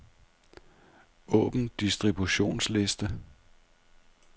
Åbn distributionsliste.